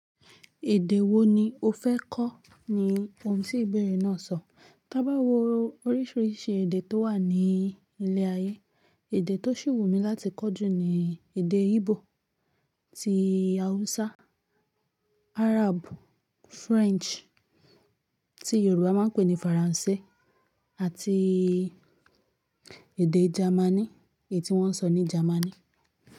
"Èdè wo ni o fẹ́ kọ́?" ni ohun tí ibeere náà sọ. Tábá wo oríṣiríṣi èdè tó wà ní ilẹ̀ ayé, èdè tó ṣì wù mí láti kọ́ jù ni èdè Íbò, tí Hausa, Arab, French tí Yorùbá máa ń pè ní Faransé àti èdè Jámánì, èyí tí wọ́n ń sọ ní Jámánì.